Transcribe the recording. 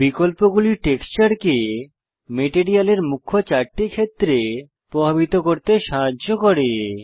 বিকল্পগুলি টেক্সচারকে মেটেরিয়ালের মুখ্য চারটি ক্ষেত্রে প্রভাবিত করতে সাহায্য করে